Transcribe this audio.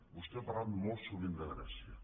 vostè ha parlat molt sovint de grècia